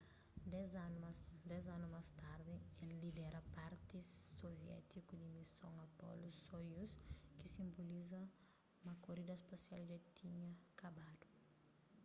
dez anu más tardi el lidera parti soviétiku di mison apollo-soyuz ki sinboliza ma korida spasial dja tinha kabadu